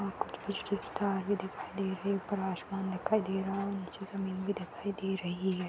अ कुछ भी दिखाई दे रही है। ऊपर आसमान दिखाई दे रहा नीचे जमीन दिखाई दे रही है।